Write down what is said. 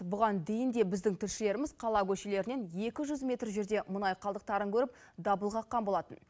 бұған дейін де біздің тілшілеріміз қала көшелерінен екі жүз метр жерде мұнай қалдықтарын көріп дабыл қаққан болатын